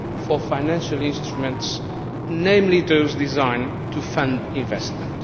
for financial instruments, namely those designed to fund investment.